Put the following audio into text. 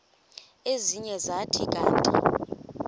ezinye zathi kanti